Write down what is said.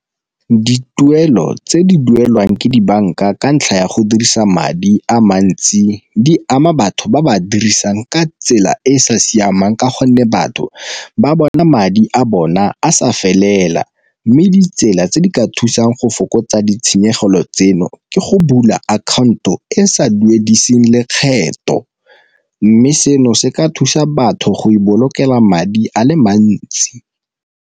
Dituelo tse di duelwang ke dibanka ka ntlha ya go dirisa madi a mantsi di ama batho ba ba dirisang ka tsela e e sa siamang ka gonne batho ba bona madi a bona a sa felela, mme ditsela tse di ka thusang go fokotsa ditshenyegelo tseno ke go bula akhaonto e e sa duedise lekgetho mme seno se ka thusa batho go ipolokela madi a le mantsi.